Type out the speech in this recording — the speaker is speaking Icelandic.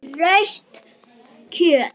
Rautt kjöt.